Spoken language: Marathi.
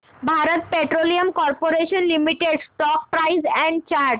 Bharat petroleum corporation limited stock price and chart